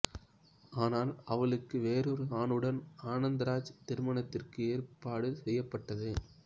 ஆனால் அவளுக்கு வேறொரு ஆணுடன் ஆனந்தராஜ் திருமணத்திற்கு ஏற்பாடு செய்யப்பட்டது